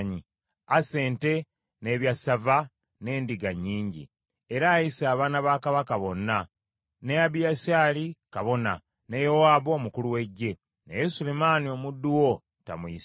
Asse ente, n’ebyassava n’endiga nnyingi, era ayise abaana ba kabaka bonna, ne Abiyasaali kabona, ne Yowaabu omukulu w’eggye, naye Sulemaani omuddu wo tamuyise.